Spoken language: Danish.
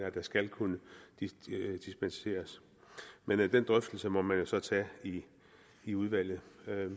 at der skal kunne dispenseres men den drøftelse må man jo så tage i udvalget